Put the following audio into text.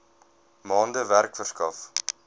maande werk verskaf